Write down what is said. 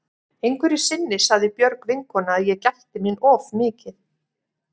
Einhverju sinni sagði Björg vinkona að ég gætti mín of mikið.